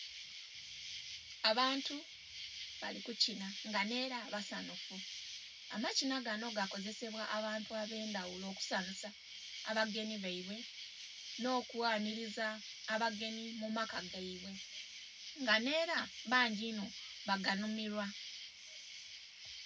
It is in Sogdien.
abantu bali kukinha nga nela basanhufu, amakinha ganho gakozesebwa abantu abendhaghulo okusanhusa abagenhu baibwe, nhokwanhuliza abagenhi mu maaka gaibwe nga nheela bangi inho baganhumilwa.